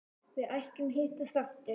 Við ætluðum að hittast aftur.